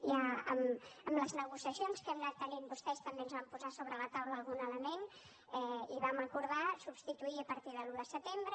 ja amb les negociacions que hem anat tenint vostès també ens van posar sobre la taula algun element i vam acordar substituir a partir de l’un de setembre